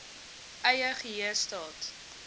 eie geheue staat